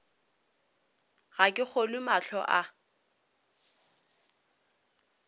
ga ke kgolwe mahlo a